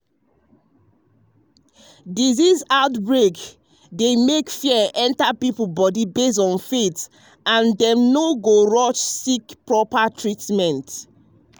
disease outbreak dey make fear enter people body based on faith and dem no go rush seek proper treatment.